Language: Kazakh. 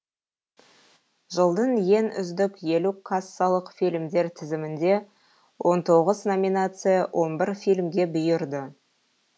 жылдың ең үздік елу кассалық фильмдер тізімінде он тоғыз номинация он бір фильмге бұйырды